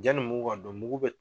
Yanni mugu ka don mugu bɛ